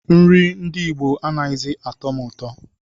Nri ndị Igbo anaghịzi atọ m ụtọ